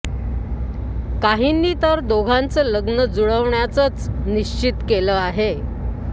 काहींनी तर दोघांचं लग्न जुळवण्याचंच निश्चित केलं आहे